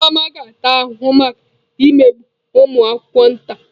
Nneoma ga-ata ahụhụ maka imegbu ụmụ akwụkwọ nta.